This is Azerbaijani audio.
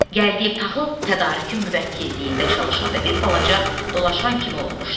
Gəldiyev taxıl tədarükü müvəkkilliyində çalışanda bir balaca dolaşan kimi olmuşdu.